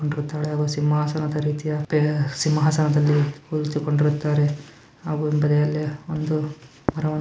ಸಿಂಹನಾದ ರೀತಿಯ ಸಿಂಹಾಸನದಲ್ಲಿ ಕುಳಿತುಕೊಂಡಿದ್ದಾರೆ ಹಾಗು ಬದಿಯಲ್ಲಿ ಒಂದ